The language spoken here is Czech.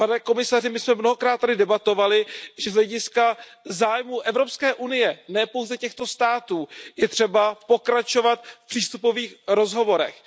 Pane komisaři, my jsme mnohokrát tady debatovali, že z hlediska zájmu Evropské unie, ne pouze těchto států, je třeba pokračovat v přístupových rozhovorech.